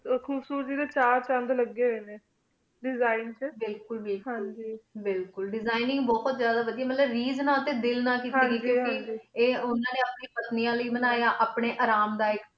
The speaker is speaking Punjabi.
ਖੂਬਸੂਰ ਤੇ ਡੀ ਚੰਦ ਚੰਦ ਲਗੀ ਹੂਯ ਨੀ ਦੇਸਿਗਣ ਟੀ ਬਿਲਕੁਲ ਬਿਲਕੁਲ ਦੇਸਿਗਣਇੰਗ ਬੁਹਤ ਜਾਦਾ ਵਾਦੇਯਾ ਮਤਲਬ ਰਾਜ ਨਾਲ ਟੀ ਦਿਲ ਨਾਲ ਕੀਤੀ ਹੁਈ ਆਯ ਆਯ ਉਨਾ ਨੀ ਆਪਣੀ ਪਾਤਾਨੇਯਾ ਲੈ ਬਣੇ ਅਪਨੀ ਆਰਾਮ ਲੈ ਬਣੇ